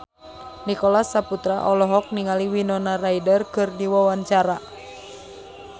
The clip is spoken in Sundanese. Nicholas Saputra olohok ningali Winona Ryder keur diwawancara